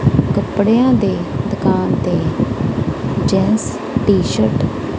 ਕੱਪੜਿਆਂ ਦੇ ਦੁਕਾਨ ਤੇ ਜੈਂਟਸ ਟੀ ਸ਼ਰਟ --